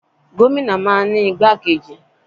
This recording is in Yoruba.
Gómìnà máa ń ní igbákejì.